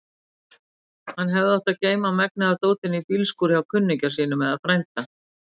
Hann hefði átt að geyma megnið af dótinu í bílskúr hjá kunningja sínum eða frænda.